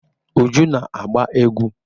Uju na-agba egwu.